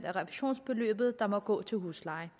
af refusionsbeløbet der må gå til huslejen